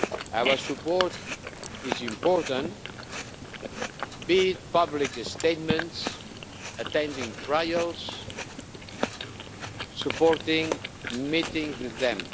Our support is important, be it public statements, attending trials, supporting meetings with them.